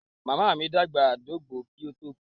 Màmá mi dàgbà, ó dògbó kó tó kú.